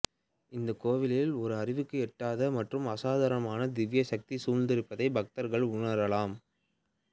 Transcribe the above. இந்தக் கோவிலில் ஒரு அறிவுக்கு எட்டாத மற்றும் அசாதாரணமான திவ்ய சக்தி சூழ்ந்திருப்பதை பக்தர்கள் உணரலாம்